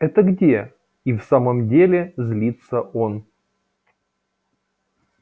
это где и в самом деле злится он